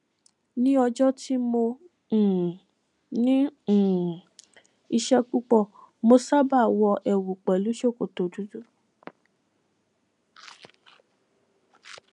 ní ọjọ tí mo um ní um iṣẹ púpọ mo sábà wọ ẹwù pẹlú ṣòkòtò dúdú